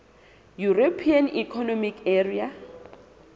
european economic area